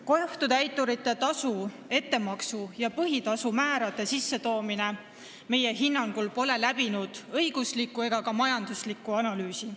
Kohtutäiturite tasu ettemaksu ja põhitasu määrade sissetoomine pole meie hinnangul läbinud õiguslikku ega ka majanduslikku analüüsi.